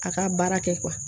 A ka baara kɛ